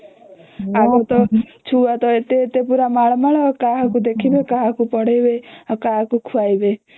ଆଉ ତା ଛୁଆ ତ ଏତେ ଏତେ ପୁରା ମାଲ ମାଲ ଆଉ କାହାକୁ ଦେଖିବେ କାହାକୁ ପଢ଼େଇବେ ଆଉ କାହାକୁ ଖୁଆଇବେ